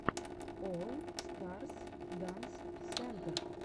олл старс данс сентер